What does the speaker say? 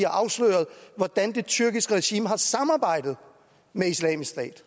afsløret hvordan det tyrkiske regime har samarbejdet med islamisk stat